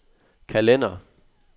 kalender